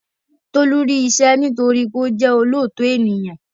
Tolú rí iṣẹ́ nítorí wípé ó jẹ́ olóòótọ ènìyàn